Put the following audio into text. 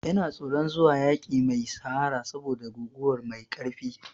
Yana tsoron zuwa yanki mai sahara saboda guguwa mai ƙarfi.